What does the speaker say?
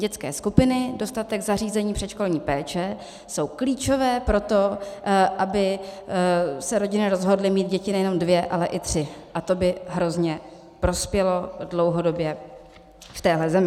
Dětské skupiny, dostatek zařízení předškolní péče jsou klíčové pro to, aby se rodiny rozhodly mít děti nejenom dvě, ale i tři, to by hrozně prospělo dlouhodobě v téhle zemi.